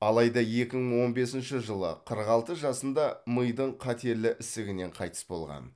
алайда екі мың он бесінші жылы қырық алты жасында мидың қатерлі ісігінен қайтыс болған